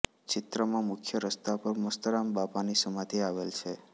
ચિત્રામાં મુખ્ય રસ્તા પર મસ્તરામબાપાની સમાધિ આવેલ છે